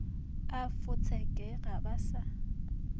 a fotseke ga ba sa